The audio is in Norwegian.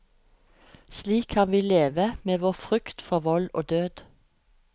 Slik kan vi leve med vår frykt for vold og død.